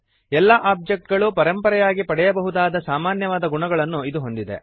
ಎಲ್ಲ ಒಬ್ಜೆಕ್ಟ್ ಗಳು ಪರಂಪರೆಯಾಗಿ ಪಡೆಯಬಹುದಾದ ಸಾಮಾನ್ಯವಾದ ಗುಣಗಳನ್ನು ಇದು ಹೊಂದಿದೆ